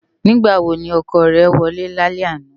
Nigbá wó ni òkò è wòlè lálè àná?